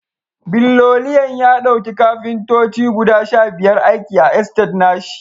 Billoliyan ya dauki Kafintoci guda Sha biyar aiki a estate nashi